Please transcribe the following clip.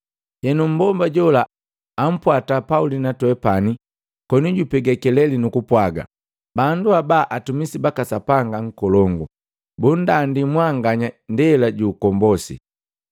Henu, mmbomba jola ampwata Pauli na twepani koni jupega keleli nukupwaga, “Bandu haba atumisi baka Sapanga Nkolongu. Bunndandi mwanganya ndela ju ukombosi.”